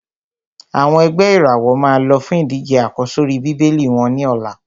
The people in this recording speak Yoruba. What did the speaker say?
Àwọn ẹ̀gbẹ́ ìràwọ̀ máa lọ fún ìdíje àkọ́sórí Bíbélì wọ́n ní ọ̀la.